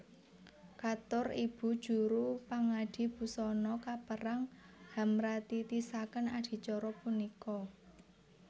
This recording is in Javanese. Katur ibu juru pangadi busana kepareng hamratitisaken adicara punika